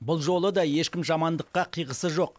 бұл жолы да ешкім жамандыққа қиғысы жоқ